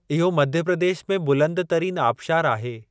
इहो मध्य प्रदेश में बुलंद तरीन आबशारु आहे।